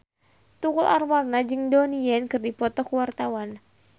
Tukul Arwana jeung Donnie Yan keur dipoto ku wartawan